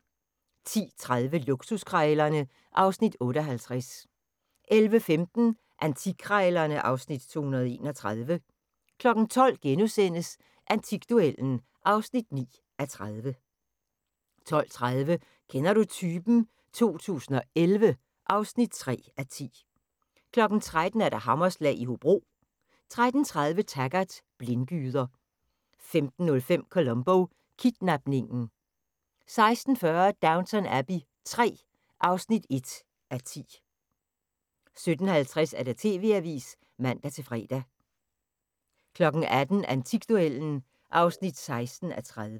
10:30: Luksuskrejlerne (Afs. 58) 11:15: Antikkrejlerne (Afs. 231) 12:00: Antikduellen (9:30)* 12:30: Kender du typen? 2011 (3:10) 13:00: Hammerslag i Hobro 13:30: Taggart: Blindgyder 15:05: Columbo: Kidnapningen 16:40: Downton Abbey III (1:10) 17:50: TV-avisen (man-fre) 18:00: Antikduellen (16:30)